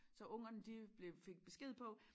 Så ungerne de blev fik besked på